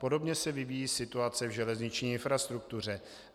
Podobně se vyvíjí situace v železniční infrastruktuře.